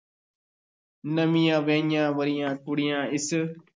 ਨਵੀਂਆਂ ਵਿਆਹੀਆਂ-ਵਰ੍ਹੀਆਂ ਕੁੜੀਆਂ ਇਸ